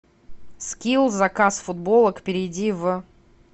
скилл заказ футболок перейди в